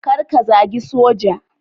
Kar ka zagi Soja.